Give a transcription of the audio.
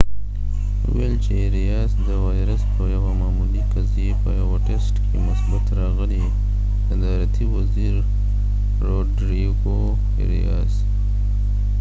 صدارتی وزیر روډریګو اریاسrodrigo arias وويل : چې اریاس د وایرس په یوه معمولي قضیې په یوه ټسټ کې مثبت راغلی